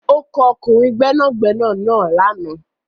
Ó kọ ọkùnrin gbẹ́nàgbẹ́nà náà lànà.